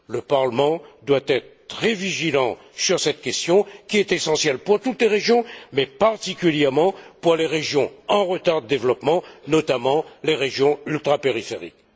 Le Parlement doit être très vigilant sur cette question, qui est essentielle pour toutes les régions, mais particulièrement pour les régions en retard de développement, notamment les régions ultrapériphériques.